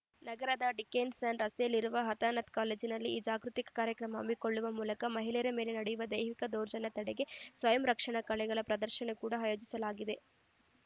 ನಗರದ Dickenson ರಸ್ತೆಯಲ್ಲಿರುವ ಹತನಾತ್ ಕಾಲೇಜಿನಲ್ಲಿ ಈ ಜಾಗೃತಿ ಕಾರ್ಯಕ್ರಮ ಹಮ್ಮಿಕೊಳ್ಳುವ ಮೂಲಕ ಮಹಿಳೆಯರ ಮೇಲೆ ನಡೆಯುವ ದೈಹಿಕ ದೌರ್ಜನ್ಯ ತಡೆಗೆ ಸ್ವಯಂರಕ್ಷಣಾ ಕಲೆಗಳ ಪ್ರದರ್ಶನ ಕೂಡ ಆಯೋಜಿಸಲಾಗಿದೆ